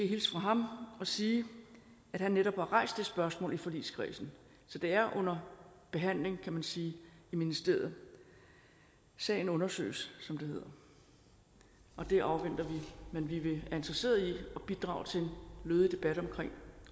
hilse fra ham og sige at han netop har rejst det spørgsmål i forligskredsen så det er under behandling kan man sige i ministeriet sagen undersøges som det hedder og det afventer vi men vi er interesseret i at bidrage til en lødig debat om